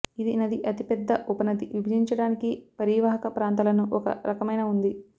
ఇది నది అతిపెద్ద ఉపనది విభజించడానికి పరీవాహక ప్రాంతాలను ఒక రకమైన ఉంది